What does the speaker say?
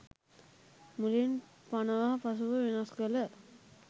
මුලින් පනවා පසුව වෙනස් කළ